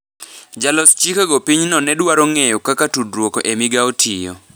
Jolos chikego pinyno ne dwaro ng’eyo kaka tudruok e migao tiyo